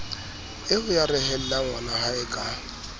eo a rehellang ngwanahae ka